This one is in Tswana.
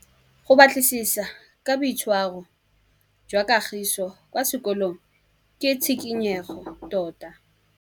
Go batlisisa ka boitshwaro jwa Kagiso kwa sekolong ke tshikinyêgô tota.